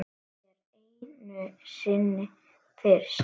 Allt er einu sinni fyrst.